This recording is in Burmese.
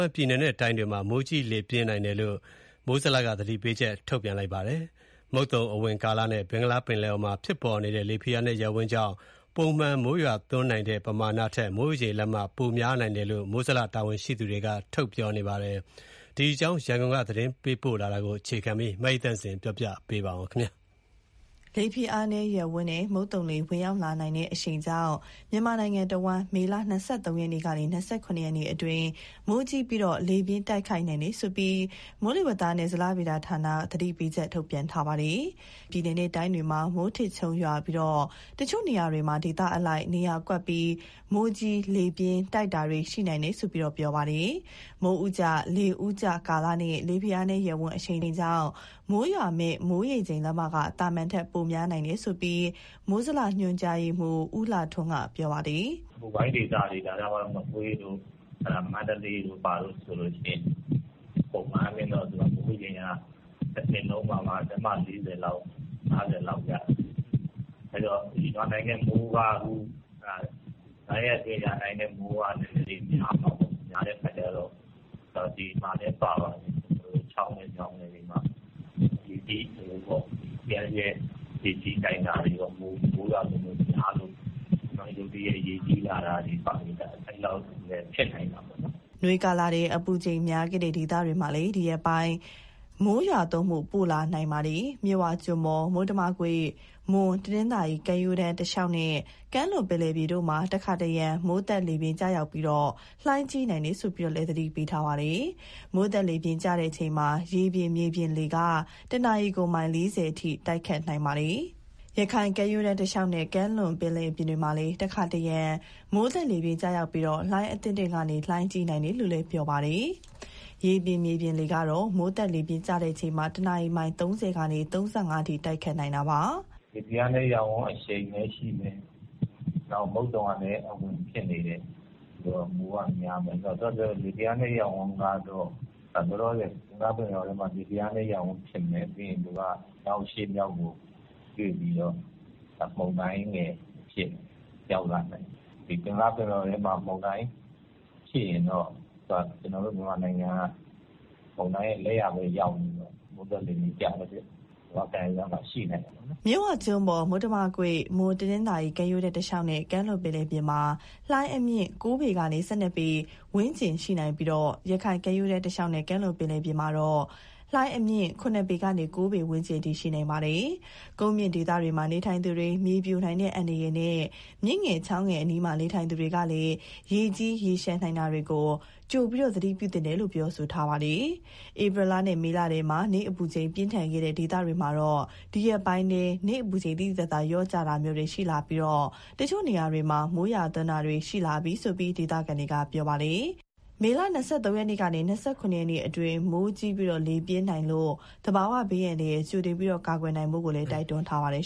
န်ပြည်နယ်နဲ့ တိုင်းတွေမှာ မိုးကြီးလေပြင်းနိုင်တယ်လို့ မိုးဇလက သတိပေးချက် ထုတ်ပြန်ထားပါတယ်။ မုတ်သုံအဝင်ကာလနဲ့ ဘင်္ဂလားပင်လယ်အော်မှာ ဖြစ်ပေါ်နေတဲ့ လေဖိအားနည်းရပ်ဝန်းကြောင့် ပုံမှန်မိုးရွာသွန်းနိုင်တဲ့ ပမာဏထက် မိုးရေချိန်လက်မ ပိုများနိုင်တယ်လို့ မိုးဇလတာဝန်ရှိသူက ပြောပါတယ်။ ဒီအကြောင်း သတင်းပေးပို့ထားတာကို အခြေခံပြီး မအိသန့်စင်က ပြောပြမှာပါ။ လေဖိအားနည်းရပ်ဝန်းနဲ့ မုတ်သုံလေဝင်ရောက်လာနိုင်တဲ့အရှိန်ကြောင့် မြန်မာနိုင်ငံတဝန်း မေလ ၂၃ ရက်ကနေ ၂၇ ရက်အတွင်း မိုးကြီးပြီး လေပြင်းတိုက်ခတ်နိုင်တယ်လို့ မိုးဇလက သတိပေးချက် ထုတ်ပြန်ထားပါတယ်။ ပြည်နယ်နဲ့ တိုင်းတွေမှာ မိုးထစ်ချုန်းရွာပြီး၊ တချို့နေရာတွေမှာ ဒေသအလိုက် နေရာကွက်ပြီး မိုးကြီးလေပြင်းတိုက်တာတွေ ရှိနိုင်တယ်လို့ ပြောပါတယ်။ မိုးဦးကျ လေဦးကျကာလနဲ့ လေဖိအားနည်းရပ်ဝန်း အရှိန်ကြောင့် မိုးရွာမယ့် မိုးရေချိန်လက်မက သာမန်ထက် ပိုများနိုင်တယ်လို့လည်း မိုးဇလ ညွှန်ကြားရေးမှူး ဦးလှထွန်းက ပြောပါတယ်။ "အပူပိုင်းဒေသတွေ မကွေး၊ မန္တလေးမှာဆိုရင် ပုံမှန်အားဖြင့်တော့ မိုးရေချိန်က တနှစ်လုံးနေမှ လက်မ ၄၀ လောက်၊ ၅၀ လောက် ရွာတာလေ။ အဲတော့ အခုရွာနိုင်တဲ့မိုးက ၅ ရက်အတွင်း ရွာမယ့်မိုးက နည်းနည်းလေးများမှာပေါ့။ ချောင်းငယ်၊ မြောင်းငယ်တွေမှာ ရေကြီးနိုင်တာတွေရော၊ မိုးရွာသွန်းမှုများလို့ ရုတ်တရက် ရေကြီးလာတာတွေက ဖြစ်နိုင်တာပေါ့နော်။" နွေကာလထဲ အပူချိန်များခဲ့တဲ့ ဒေသတွေမှာလည်း ဒီရက်ပိုင်းထဲ မိုးရွာသွန်းမှု ပိုလာနိုင်ပါတယ်။ မြစ်ဝကျွန်းပေါ်၊ မုတ္တမကွေ့၊ မွန် - တနင်္သာရီကမ်းရိုးတန်း တလျှောက်နဲ့ ကမ်းလွန်ပင်လယ်ပြင်တို့မှာ တခါတရံ မိုးသက်လေပြင်း ကျရောက်ပြီး လှိုင်းကြီးနိုင်တယ်လို့ သတိပေးထားပါတယ်။ မိုးသက်လေပြင်း ကျချိန်မှာ ရေပြင်မြေပြင်လေက တနာရီမိုင် ၄၀ အထိ တိုက်ခတ်နိုင်ပါတယ်။ ရခိုင်ကမ်းရိုးတန်း တလျှောက်နဲ့ ကမ်းလွန်ပင်လယ်ပြင်မှာလည်း တခါတရံ မိုးသက်လေပြင်း ကျရောက်ပြီး လှိုင်းအသင့်အတင့်ကနေ လှိုင်းကြီးနိုင်တယ်လို့ ပြောပါတယ်။ ရေပြင်မြေပြင်လေကတော့ မိုးသက်လေပြင်း ကျချိန်မှာ တနာရီမိုင် ၃၀ ကနေ ၃၅ အထိ တိုက်ခတ်နိုင်ပါတယ်။ "လေဖိအားနည်းရပ်ဝန်း အရှိန်လည်းရှိမယ်။ မုတ်သုံလည်း အဝင်ဖြစ်နေတယ်။ ဆိုတော့ မိုးကများမယ်။ ပြီးတော့ လေဖိအားနည်းရပ်ဝန်းကတော့ လောလောဆယ် ဘင်္ဂလားပင်လယ်အော်ထဲမှာ လေဖိအားနည်းရပ်ဝန်း ဖြစ်မယ်။ ပြီးရင် သူက အရှေ့မြောက်ကို ရွေ့ပြီးတော့ မုန်တိုင်းငယ်အဖြစ် ရောက်လာနိုင်တယ်။ ဒီဘင်္ဂလားပင်လယ်အော်ထဲမှာ မုန်တိုင်းရှိရင်တော့ ကျနော်တို့ မြန်မာနိုင်ငံက မုန်တိုင်းရဲ့ လက်ယာဘက်ရောက်နေတော့ မိုးသက်လေပြင်း ကျတတ်တယ်။ မြန်မာ့ကမ်းရိုးတန်းမှာ ရှိနိုင်တာပေါ့နော်။" မြစ်ဝကျွန်းပေါ်၊ မုတ္တမကွေ့၊ မွန် - တနင်္သာရီကမ်းရိုးတန်း တလျှောက်နဲ့ ကမ်းလွန်ပင်လယ်ပြင်မှာ လှိုင်းအမြင့် ၉ ပေကနေ ၁၂ ပေဝန်းကျင်ရှိနိုင်ပြီး၊ ရခိုင်ကမ်းရိုးတန်း တလျှောက်နဲ့ ကမ်းလွန်ပင်လယ်ပြင်မှာတော့ ၇ ပေကနေ ၉ ပေဝန်းကျင်အထိ ရှိနိုင်ပါတယ်။ ကုန်းမြင့်ဒေသမှာ နေထိုင်သူတွေ မြေပြိုနိုင်တဲ့ အန္တရာယ်နဲ့ မြစ်ငယ်၊ ချောင်းငယ်အနီး နေထိုင်သူတွေလည်း ရေကြီး၊ ရေလျှံနိုင်တာကို ကြိုသတိပြုသင့်တယ်လို့ ပြောပါတယ်။ ဧပြီနဲ့ မေလထဲ နေ့အပူချိန် ပြင်းထန်ခဲ့တဲ့ ဒေသတွေမှာတော့ ဒီရက်ပိုင်းထဲ နေ့အပူချိန် သိသိသာသာ လျော့ကျတာမျိုး ရှိလာပြီး၊ တချို့နေရာတွေမှာ မိုးရွာသွန်းတာတွေ ရှိလာပြီလို့ ဒေသခံတွေက ပြောပါတယ်။ မေလ ၂၃ ကနေ ၂၇ ရက်နေ့အတွင်း မိုးကြီးလေပြင်းနိုင်လို့ သဘာဝဘေး ကြိုတင်ကာကွယ်နိုင်ဖို့ကိုလည်း တိုက်တွန်းထားကြပါတယ်